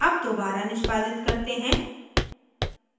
अब दोबारा निष्पादित करते हैं